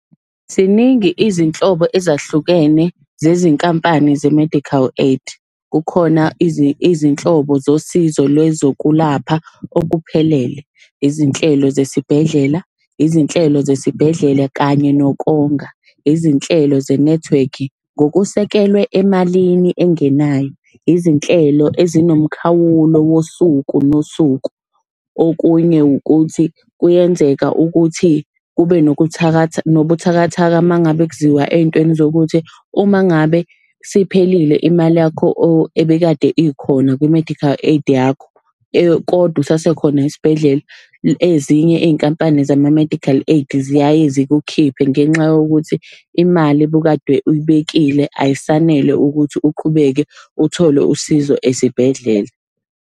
Ziningi izinhlobo ezahlukene zezinkampani ze-medical aid. Kukhona izinhlobo zosizo lwezokulapha okuphelele, izinhlelo zesibhedlela, izinhlelo zesibhedlela kanye nokonga, izinhlelo zenethiwekhi. Ngokusekelwe emalini engenayo, izinhlelo ezinomkhawulo wosuku nosuku. Okunye ukuthi kuyenzeka ukuthi kube nobuthakathaka uma ngabe kuziwa ey'ntweni zokuthi uma ngabe siphelile imali yakho ebekade ikhona kwi-medical aid yakho, kodwa usasekhona esibhedlela, ezinye iy'nkampani zama-medical aid ziyaye zikukhiphe ngenxa yokuthi imali obukade uyibekile ayisanele ukuthi uqhubeke uthole usizo esibhedlela.